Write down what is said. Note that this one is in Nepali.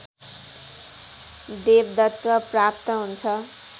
देवदत्व प्राप्त हुन्छ